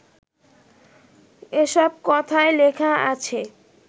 এসব কথাই লেখা আছে